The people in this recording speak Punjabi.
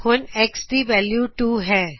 ਹੁਣ X ਦੀ ਵੈਲਯੂ 2 ਹੈ